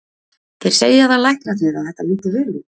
Þeir segja það læknarnir að þetta líti vel út.